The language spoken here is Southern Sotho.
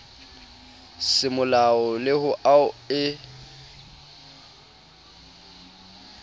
semolao le ho ao e